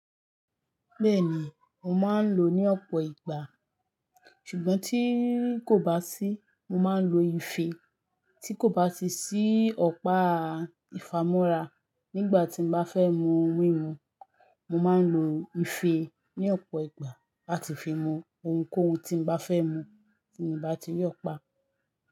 Bẹ́ẹ̀ni, mo máa ń lò ó ní ọ̀pọ̀ ìgbà, ṣùgbọ́n tí kò bá sí, mo máa ń lo ifee. Tí kò bá ti sí ọ̀pá ìfámọ́ra nígbà tí mo bá fẹ́ mu ohun mímu, mo máa ń lo ife ní ọ̀pọ̀ ìgbà láti fi mu ohun kóhun tí mo bá fẹ́ mu tí mo bá ti ri opa.